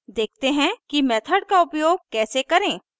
देखते हैं कि मेथड का उपयोग कैसे करें